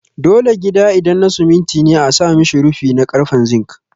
Dole gida idan na simiti ne a sa mishi rufi na karfen zink